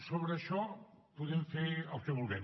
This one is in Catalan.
sobre això podem fer el que vulguem